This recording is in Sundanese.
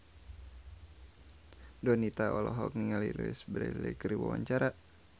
Donita olohok ningali Louise Brealey keur diwawancara